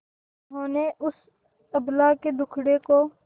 जिन्होंने उस अबला के दुखड़े को